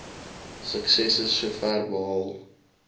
suksesse sover behaal